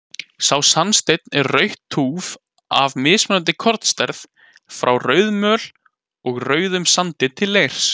Sá sandsteinn er rautt túff af mismunandi kornastærð, frá rauðamöl og rauðum sandi til leirs.